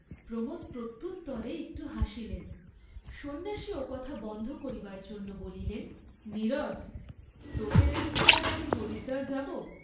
প্রমোদ প্রত্যুত্তরে একটু হাসিলেন, সন্ন্যাসী ওকথা বন্ধ করিবার জন্য বলিলেন নীরজ, তোকে রেখে কি আর আমি হরিদ্বার যাব?